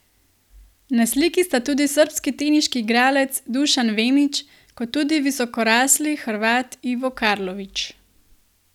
Na sliki sta tudi srbski teniški igralec Dušan Vemić kot tudi visokorasli Hrvat Ivo Karlović.